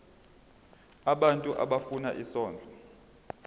abantu abafuna isondlo